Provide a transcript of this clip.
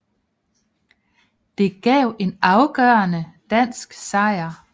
Det gav en afgørende dansk sejr